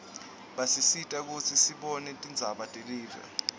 basisita kutsi sibone tindzaba telive